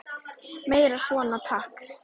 Meira svona, takk!